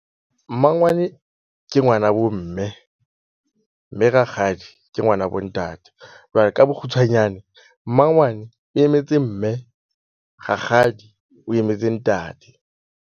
Mmangwane ke ngwanabo mme. Mme rakgadi ke ngwanabo ntate jwale ka bokgutshwanyane, mmangwane e emetse mme rakgadi o emetse ntate.